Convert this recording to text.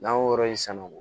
N'an y'o yɔrɔ in san